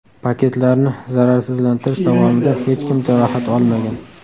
Paketlarni zararsizlantirish davomida hech kim jarohat olmagan.